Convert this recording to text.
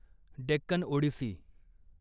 Deccan Odissi